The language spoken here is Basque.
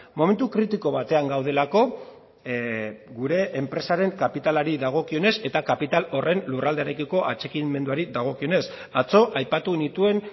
momentu kritiko batean gaudelako gure enpresaren kapitalari dagokionez eta kapital horren lurraldearekiko atxikimenduari dagokionez atzo aipatu nituen